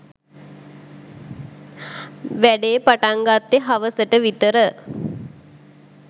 වැඩේ පටන් ගත්තෙ හවස ට විතර.